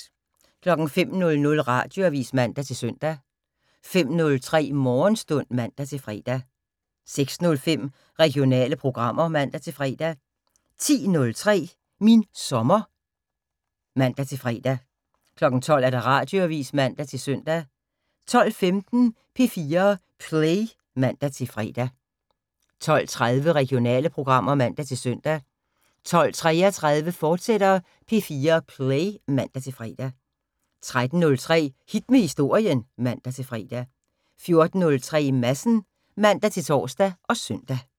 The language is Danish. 05:00: Radioavis (man-søn) 05:03: Morgenstund (man-fre) 06:05: Regionale programmer (man-fre) 10:03: Min sommer (man-fre) 12:00: Radioavis (man-søn) 12:15: P4 Play (man-fre) 12:30: Regionale programmer (man-søn) 12:33: P4 Play, fortsat (man-fre) 13:03: Hit med Historien (man-fre) 14:03: Madsen (man-tor og søn)